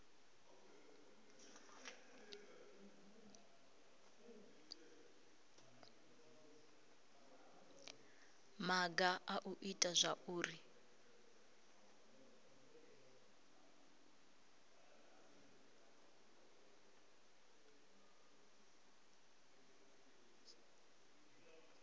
maga a u ita zwauri